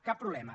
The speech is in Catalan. cap problema